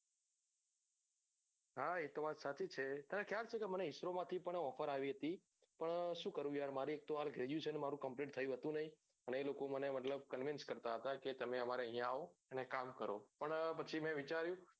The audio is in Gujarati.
હા એ તો વાત સાચી છે તને ખ્યાલ છે કે મને ISRO માંથી પણ offer આવી હતી પણ શું કરું યાર્ર મારી એક તો હાલ મારું graduation મારું complete થયું હતું નહિ ને એ લોકો મને મતલબ મને convince કરતા હતા કે તમે અમારા અહોયા આવો ને કામ કરો પણ પછી મેં વિચાર્યું